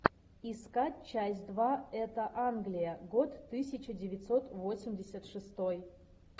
искать часть два это англия год тысяча девятьсот восемьдесят шестой